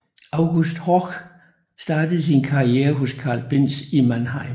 August Horch startede sin karriere hos Carl Benz i Mannheim